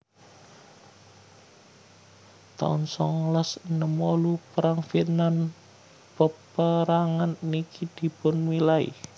taun songolas enem wolu Perang Vietnam Peperangan niki dipunmilai